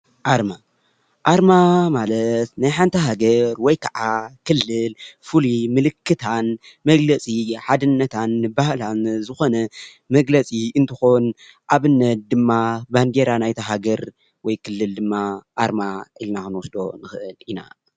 ኣርማ ኣርማ ማለት ናይ ሓንቲ ሃገር ወይ ከዓ ክልል ፍሉይ ምልክታን መግለፂ ሓድነታን ባህላን ዝኮነ መግለፂ እንትኮን ኣብነት ድማ ባንዴራ ናይታ ሃገር ወይ ክልል ድማ ኣርማ ኢልና ክንወስዶ ንኽእል ኢና።